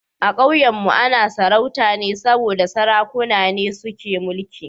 A Kauyenmu ana sarauta ne saboda Sarakuna ne suke mulki